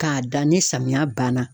K'a da ni samiya banna